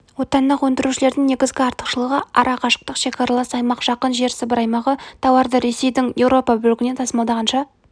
отандық өндірушілердің негізгі артықшылығы ара қашықтық шекаралас аймақ жақын жер сібір аймағы тауардыресейдің еуропа бөлігінен тасымалдағанша